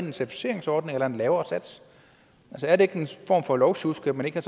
en certificeringsordning eller en lavere sats er det ikke en form for lovsjusk at man ikke har